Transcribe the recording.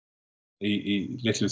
í litlu